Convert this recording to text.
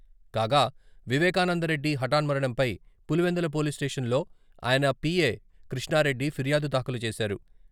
కాగా, వివేకానందరెడ్డి హటాన్మరణంపై Pulivendula police station లో ఆయన పిఏ కృష్ణారెడ్డి ఫిర్యాదు దాఖలు చేశారు.